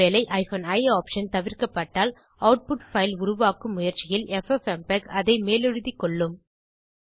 ஒருவேளை i option தவிர்க்கப்பட்டால் output file உருவாக்கும் முயற்சியில் எஃப்எப்எம்பெக் அதை மேலெழுதிக் கொள்ளும்